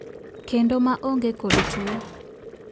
kendo maonge kod tuo.